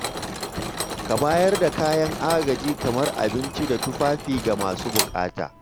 Ka bayar da kayan agaji kamar abinci da tufafi ga masu buƙata.